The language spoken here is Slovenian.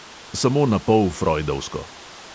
Samo napol frojdovsko.